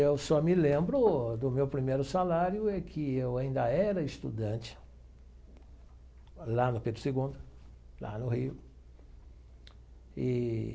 Eu só me lembro do meu primeiro salário é que eu ainda era estudante lá no Pedro Segundo, lá no Rio eee.